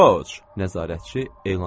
Roc, nəzarətçi elan etdi.